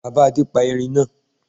Bàbá Adé pa Erin náa